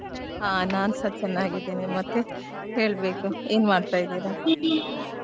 ಹಾ ನಾನ್ಸ ಚೆನ್ನಾಗಿದ್ದೇನೆ ಮತ್ತೆ ಹೇಳ್ಬೇಕು ಏನ್ ಮಾಡ್ತಾ ಇದ್ದೀರಾ .